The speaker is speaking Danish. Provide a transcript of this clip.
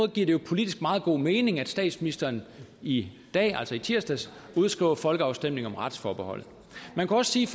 det jo politisk meget god mening at statsministeren i dag altså i tirsdags udskriver folkeafstemning om retsforbeholdet man kan også sige